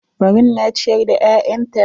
Barun na ciyar da ƴaƴanta.